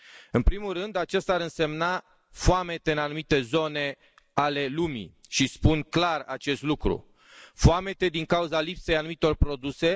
În primul rând, aceasta ar însemna foamete în anumite zone ale lumii și spun clar acest lucru foamete din cauza lipsei anumitor produse.